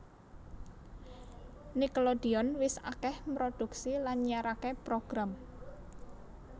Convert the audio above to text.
Nickelodeon wis akèh mproduksi lan nyiaraké program